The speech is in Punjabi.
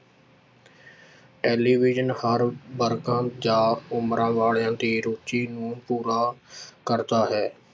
ਟੈਲੀਵਿਜ਼ਨ ਹਰ ਵਰਗਾਂ ਜਾਂ ਉਮਰਾਂ ਵਾਲਿਆਂ ਦੀ ਰੁੱਚੀ ਨੂੰ ਪੂਰਾ ਕਰਦਾ ਹੈ।